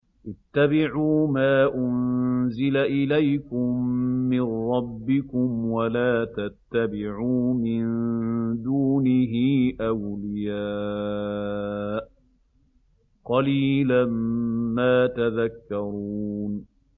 اتَّبِعُوا مَا أُنزِلَ إِلَيْكُم مِّن رَّبِّكُمْ وَلَا تَتَّبِعُوا مِن دُونِهِ أَوْلِيَاءَ ۗ قَلِيلًا مَّا تَذَكَّرُونَ